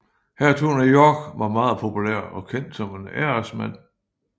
Hertugen af York var meget populær og kendt som en æresmand